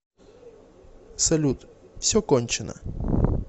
салют все кончено